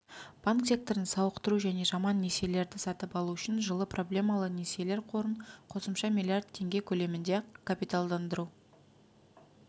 банк секторын сауықтыру және жаман несиелерді сатып алу үшін жылы проблемалы несиелер қорын қосымша миллиард теңге көлемінде капиталдандыруды